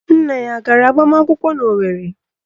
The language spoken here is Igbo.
Nna ya a gara agbamakwụkwọ n'Owerre?